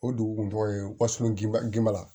O dugu kun tɔgɔ ye wasɔn ginna